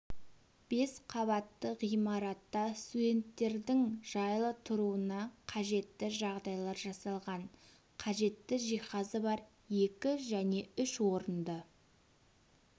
бес қабатты ғимаратта студенттердің жайлы тұруына қажетті жағдайлар жасалған қажетті жиһазы бар екі және үш орынды